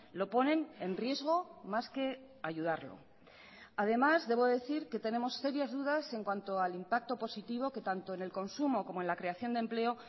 lo ponen en riesgo más que ayudarlo además debo decir que tenemos serias dudas en cuanto al impacto positivo que tanto en el consumo como en la creación de empleo